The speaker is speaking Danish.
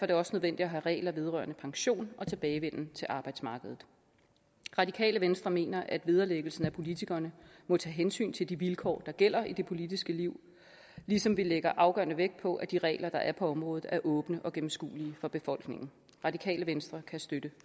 det også nødvendigt at have regler vedrørende pension og tilbagevenden til arbejdsmarkedet radikale venstre mener at vederlæggelsen af politikerne må tage hensyn til de vilkår der gælder i det politiske liv ligesom vi lægger afgørende vægt på at de regler der er på området er åbne og gennemskuelige for befolkningen radikale venstre kan støtte